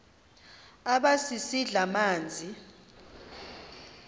aba sisidl amazimba